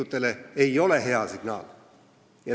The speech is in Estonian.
See ei ole hea signaal!